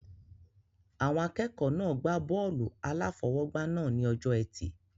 Àwọn akẹ́kọ̀ọ́ náà gbá bọ́ọ̀lù-aláfọwọ́gbá náà ní ọjọ́ ẹtì